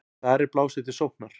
Þar er blásið til sóknar.